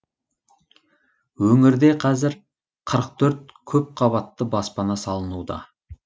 өңірде қазір қырық төрт көпқабатты баспана салынуда